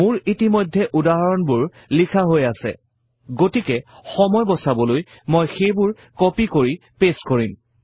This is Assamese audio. মোৰ ইতিমধ্যে উদাহৰণবোৰ লিখা হৈ আছে গতিকে সময় বছাবলৈ মই সেইবোৰ কপি আৰু পেইষ্ট কৰিম